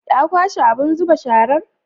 Ya kwashe abun zuba sharar?